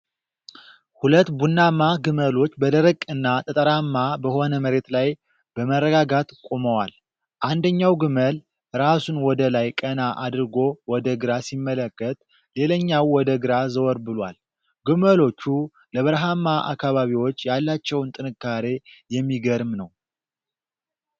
ሁለት ቡናማ ግመሎች በደረቅ እና ጠጠራማ በሆነ መሬት ላይ በመረጋጋት ቆመዋል። አንደኛው ግመል ራሱን ወደ ላይ ቀና አድርጎ ወደ ግራ ሲመለከት፣ ሌላኛው ወደ ግራ ዘወር ብሏል። ግመሎቹ ለበረሃማ አካባቢዎች ያላቸውን ጥንካሬ የሚገርም ነው።